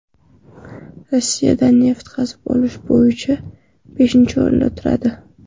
Rossiyada neft qazib olish bo‘yicha beshinchi o‘rinda turadi.